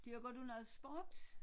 Dyrker du noget sport?